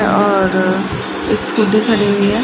और एक स्कूटी खडी हुई है।